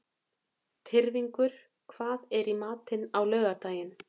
Tyrfingur, hvað er í matinn á laugardaginn?